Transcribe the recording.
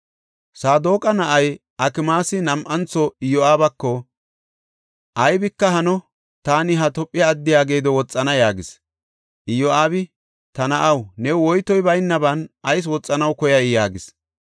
Saadoqa na7ay Akimaasi nam7antho Iyo7aabako, “Aybika hano; taani ha Tophe addiya geedo woxana” yaagis. Iyo7aabi, “Ta na7aw, new woytoy baynaban ayis woxanaw koyay?” yaagis.